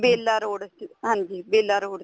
ਬੇਲਾ road ਹਾਂਜੀ Bela road